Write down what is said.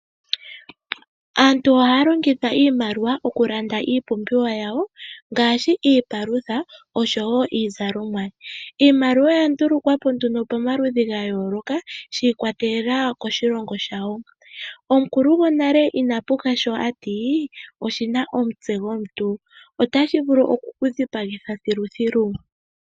Aantu ohaya longitha iimaliwa okulanda iipumbiwa yawo ngaashi iipalutha noshowo iizalomwa. Iimaliwa oya ndulukwa po pamaludhi ga yooloka shi ikwatelela koshilongo shawo. Omukulu gonale inapuka sho a ti oshi na omutse gomuntu. Otashi vulu oku ku dhipagitha thiluthilu.